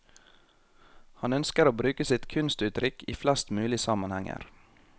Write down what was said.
Han ønsker å bruke sitt kunstuttrykk i flest mulig sammenhenger.